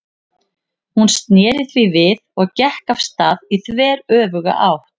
Hún sneri því við og gekk af stað í þveröfuga átt.